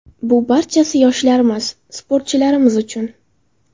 Bu barchasi yoshlarimiz, sportchilarimiz uchun.